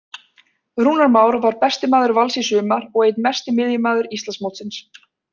Rúnar Már var besti maður Vals í sumar og einn mesti miðjumaður Íslandsmótsins.